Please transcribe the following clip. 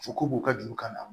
U ko k'u ka juru kana